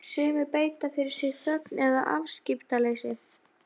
Sumir beita fyrir sig þögn eða afskiptaleysi.